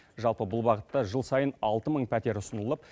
жалпы бұл бағытта жыл сайын алты мың пәтер ұсынылып